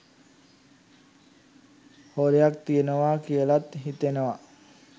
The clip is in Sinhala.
හොරයක් තියනවා කියලත් හිතෙනවා.